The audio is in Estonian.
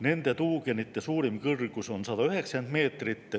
Nende tuugenite suurim kõrgus on 190 meetrit.